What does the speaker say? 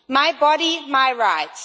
My body, my rights.